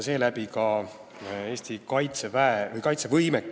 Seeläbi kasvab ka Eesti kaitsevõime.